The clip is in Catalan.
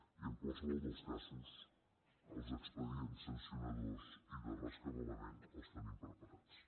i en qualsevol dels casos els expedients sancionadors i de rescabalament els tenim preparats